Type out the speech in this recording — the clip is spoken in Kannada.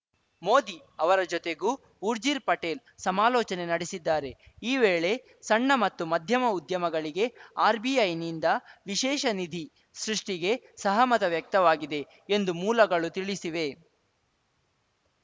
ಮೋದಿ ಅವರ ಜೊತೆಗೂ ಊರ್ಜಿರ್‌ ಪಟೇಲ್‌ ಸಮಾಲೋಚನೆ ನಡೆಸಿದ್ದಾರೆ ಈ ವೇಳೆ ಸಣ್ಣ ಮತ್ತು ಮಧ್ಯಮ ಉದ್ಯಮಗಳಿಗೆ ಆರ್‌ಬಿಐನಿಂದವಿಶೇಷ ನಿಧಿ ಸೃಷ್ಟಿಗೆ ಸಹಮತ ವ್ಯಕ್ತವಾಗಿದೆ ಎಂದು ಮೂಲಗಳು ತಿಳಿಸಿವೆ